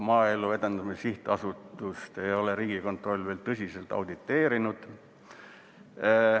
Maaelu Edendamise Sihtasutust ei ole Riigikontroll veel tõsiselt auditeerinud.